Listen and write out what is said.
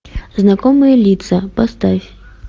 знакомые лица поставь